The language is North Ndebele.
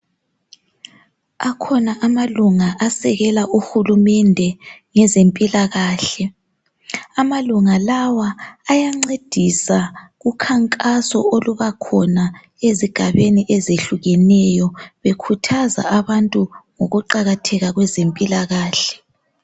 Akhona amalunga asekela uhulumende ngezempilakahle. Amalunga lawa ayancedisa kukhankaso oluba khona ezigabeni ezihlukeneyo bekhuthaza abantu ngokuqakatheka kwezempilakahle.